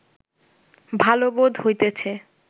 ভাল বোধ হইতেছে